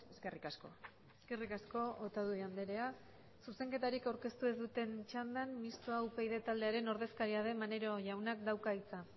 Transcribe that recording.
eskerrik asko eskerrik asko otadui andrea zuzenketarik aurkeztu ez duten txandan mistoa upyd taldearen ordezkaria den maneiro jaunak dauka hitza